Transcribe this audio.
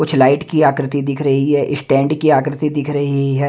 कुछ लाइट की आकृति दिख रही है स्टैंड की आकृति दिख रही है।